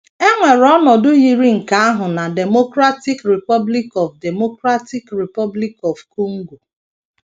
E nwere ọnọdụ yiri nke ahụ na Democratic Republic of Democratic Republic of Congo.